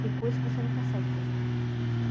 Tem coisas que você não consegue fazer.